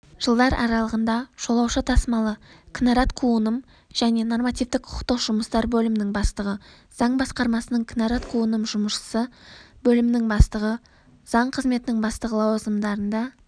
жылдар аралығында жолаушы тасымалы кінәрат-қуыным және нормативтік-құқықтық жұмыстар бөлімінің бастығы заң басқармасының кінәрат-қуыным жұмысы бөлімінің бастығы заң қызметінің бастығы лауазымдарында